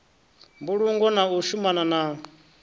mbulungo na u shumana na